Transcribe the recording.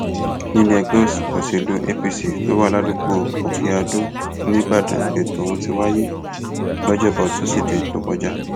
nílẹẹgbẹ òsèlú apc tó wà ládùúgbò òkèadó nìbàdàn lẹtọ ohun ti wáyé lọjọbọ tosidee tó kọjá